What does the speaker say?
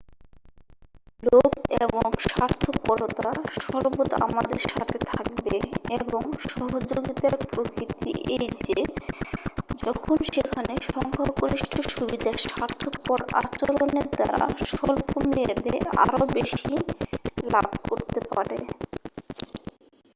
লোভ এবং স্বার্থপরতা সর্বদা আমাদের সাথে থাকবে এবং সহযোগিতার প্রকৃতি এই যে যখন সেখানে সংখ্যাগরিষ্ঠ সুবিধা স্বার্থপর আচরণের দ্বারা স্বল্পমেয়াদে আরও বেশি লাভ করতে পারে